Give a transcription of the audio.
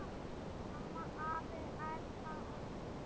Amma, afi, Erna og Steini.